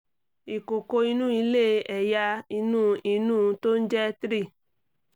ìkòkò inú ilé ẹ̀yà inú inú tó ń jẹ́ three